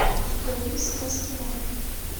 у тебя есть сказки на ночь